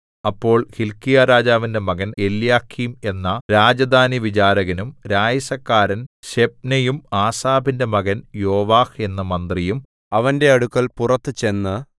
അപ്പോൾ ഹില്ക്കീയാവിന്റെ മകൻ എല്യാക്കീം എന്ന രാജധാനിവിചാരകനും രായസക്കാരൻ ശെബ്നയും ആസാഫിന്റെ മകൻ യോവാഹ് എന്ന മന്ത്രിയും അവന്റെ അടുക്കൽ പുറത്തു ചെന്നു